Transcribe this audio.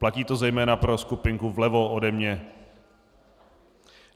Platí to zejména pro skupinku vlevo ode mě.